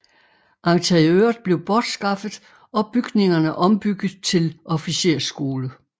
Interiøret blev bortskaffet og bygningerne ombygget til officersskole